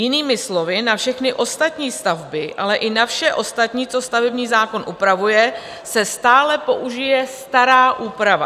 Jinými slovy, na všechny ostatní stavby, ale i na vše ostatní, co stavební zákon upravuje, se stále použije stará úprava.